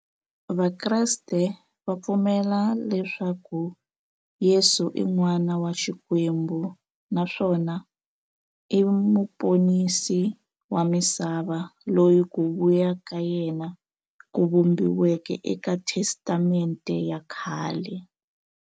Vakreste va pfumela leswaku Yesu i n'wana wa Xikwembu naswona i muponisi wa misava, loyi ku vuya ka yena ku vhumbiweke eka Testamente ya khale.